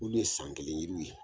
Olu ye san kelen yiriw ye.